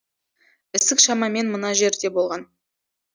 ісік шамамен мына жерде болған